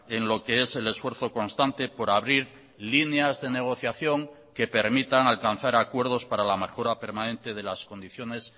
en lo que es el esfuerzo constante por abrir líneas de negociación que permitan alcanzar acuerdos para la mejora permanente de las condiciones